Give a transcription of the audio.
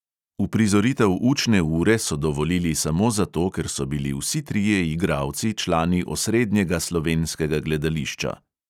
Uprizoritev učne ure so dovolili samo zato, ker so bili vsi trije igralci člani osrednjega slovenskega gledališča.